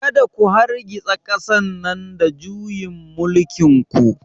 Kada ku hargitsa ƙasar nan da juyin mulkin ku!